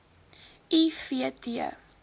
i v t